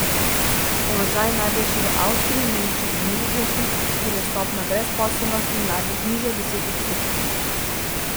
Položaj je najboljši v Avstriji, Nemčiji in Nizozemskem, kjer je stopnja brezposelnosti mladih nižja od deset odstotkov.